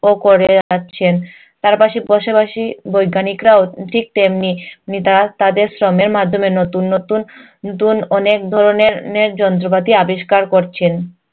ও করে যাচ্ছেন। তার পাশে পাশাপাশি বৈজ্ঞানিকরাও ঠিক তেমনি তাদের শ্রমের মাধ্যমে নতুন নতুন নতুন অনেক ধরনের যন্ত্রপাতি আবিষ্কার করছেন।